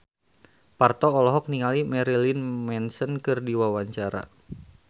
Parto olohok ningali Marilyn Manson keur diwawancara